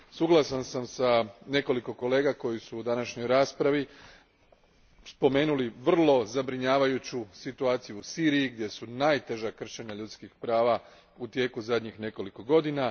Suglasan sam s nekoliko kolega koji su u današnjoj raspravi spomenuli vrlo zabrinjavajuću situaciju u Siriji, gdje su najteža kršenja ljudskih prava u tijeku zadnjih nekoliko godina.